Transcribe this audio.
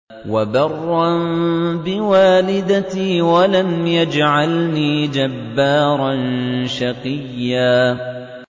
وَبَرًّا بِوَالِدَتِي وَلَمْ يَجْعَلْنِي جَبَّارًا شَقِيًّا